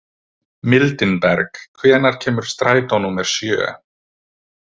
Mildinberg, hvenær kemur strætó númer sjö?